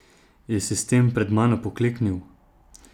Je sistem pred mano pokleknil?